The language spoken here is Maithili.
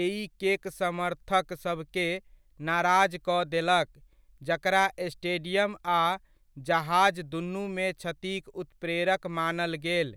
एइकेक समर्थक सभके नाराज कऽ देलक, जकरा स्टेडियम आ जहाज दुनुमे क्षतिक उत्प्रेरक मानल गेल।